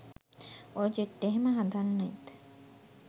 ඔය ජෙට් එහෙම හදන්නෙත්